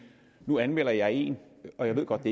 nu anmelder jeg en og jeg ved godt at